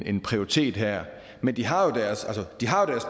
en prioritet her men de har jo deres